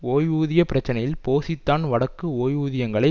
ஓய்வூதிய பிரச்சினையில் போசி தான் வடக்கு ஓய்வூதியங்களை